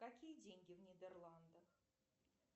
какие деньги в нидерландах